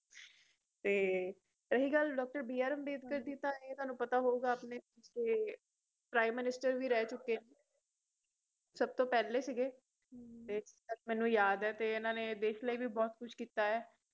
ਤੇ ਰਹੀ ਗਲ doctor ਬੀ ਆਰ ਅੰਬੇਡਕਰ ਦੀ ਤਾਂ ਇਹ ਤੁਹਾਨੂੰ ਪਤਾ ਹੋਏਗਾ ਆਪਣੇ Prime Minister ਵੀ ਰਹਿ ਚੁੱਕੇ ਨੇ ਸਭਤੋਂ ਪਹਿਲੇ ਸਿਗੇ ਤੇ ਜਿੱਥੇ ਤਕ ਮੈਨੂੰ ਯਾਦ ਏ ਇੰਨਾ ਨੇ ਦੇਸ਼ ਲਈ ਵੀ ਬਹੁਤ ਕੁਝ ਕੀਤਾ ਏ